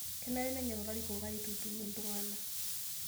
Kenare nenyok larikok aitutum iltung'anak